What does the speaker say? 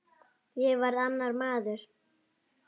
Ég varð annar maður.